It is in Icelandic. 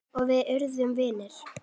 Og við urðum vinir.